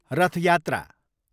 रथ यात्रा